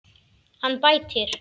Hann bætir.